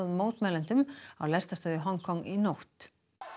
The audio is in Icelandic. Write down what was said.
mótmælendum á lestarstöð í Hong Kong í nótt